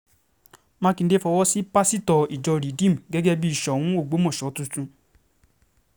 mákindé fọwọ́ sí um pásítọ̀ ìjọ rìdíìmù gẹ́gẹ́ bíi soun ọgbọ́mọṣọ um tuntun